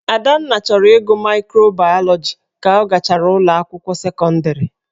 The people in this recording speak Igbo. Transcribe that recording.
Adanna chọrọ ịgụ maịkrobaịọlogi ka ọ gachara ụlọ akwụkwọ sekọndịrị.